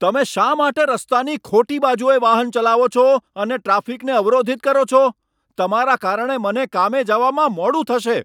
તમે શા માટે રસ્તાની ખોટી બાજુએ વાહન ચલાવો છો અને ટ્રાફિકને અવરોધિત કરો છો? તમારા કારણે મને કામે જવામાં મોડું થશે.